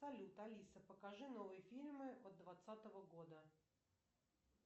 салют алиса покажи новые фильмы от двадцатого года